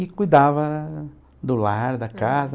e cuidava do lar, da casa.